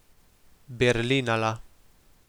Berlinala.